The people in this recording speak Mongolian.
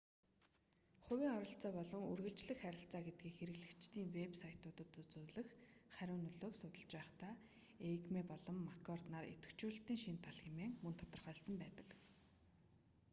хувийн оролцоо болон үргэлжлэх харилцаа гэдгийг хэрэглэгчдийн вэб сайтуудад үзүүлэх хариу нөлөөг судалж байхдаа эйгмей болон маккорд 1998 нар идэвхжүүлэлтийн шинэ тал хэмээн мөн тодорхойлсон байдаг